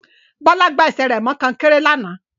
Bọ́lá gbá ẹsẹ̀ rẹ̀ mọ kọ́nkéré lánàá